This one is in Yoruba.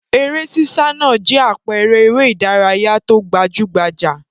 Eré sísá náà jẹ́ àpẹẹrẹ eré-idárayá tó gbajú-gbajà.